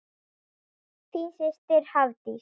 Þín systir, Hafdís.